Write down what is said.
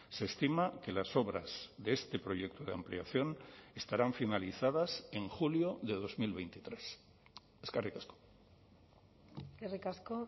se estima que las obras de este proyecto de ampliación estarán finalizadas en julio de dos mil veintitrés eskerrik asko eskerrik asko